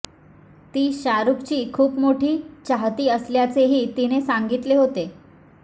ती शाहरुखची खूप मोठी चाहती असल्याचेही तिने सांगितले होते